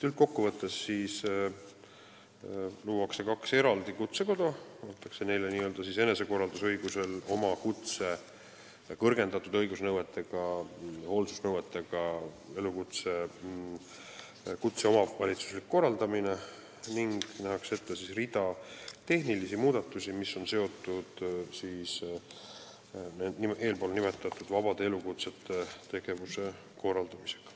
Üldkokkuvõttes luuakse kaks eraldi kutsekoda ja antakse neile n-ö enesekorraldusõigusel põhinev ülesanne oma kõrgendatud hoolsusnõuetega kutset omavalitsuslikult korraldada ning nähakse ette rida tehnilisi muudatusi, mis on seotud eespool nimetatud vabade elukutsete tegevuse korraldamisega.